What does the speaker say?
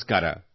ನಮಸ್ಕಾರ